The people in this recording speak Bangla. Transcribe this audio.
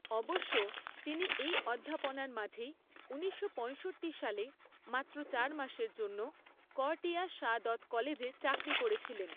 অবশ্য তিনি এই অধ্যাপনার মাঝেই ঊনিশশো পঁয়ষট্টি সালে মাত্র চার মাসের জন্য করটিয়া সা দৎ কলেজে চাকরি করেছিলেন।